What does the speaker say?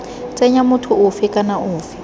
tsenya motho ofe kana ofe